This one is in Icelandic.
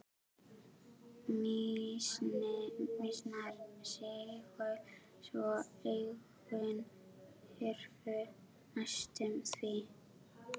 Mýsnar sigu svo augun hurfu næstum því.